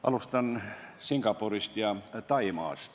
Alustan Singapurist ja Taimaast.